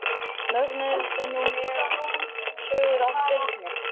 Mögnuðust nú mjög sögur af Birni.